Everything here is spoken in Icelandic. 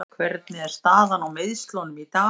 Hvernig er staðan á meiðslunum í dag?